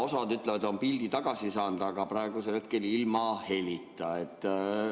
Osa ütleb, et on pildi tagasi saanud, aga praegusel hetkel ilma helita.